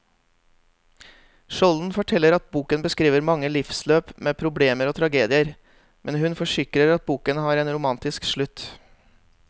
Skjolden forteller at boken beskriver mange livsløp med problemer og tragedier, men hun forsikrer at boken har en romantisk slutt.